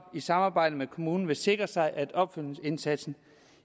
i samarbejde med kommunen vil sikre sig at opfølgningsindsatsen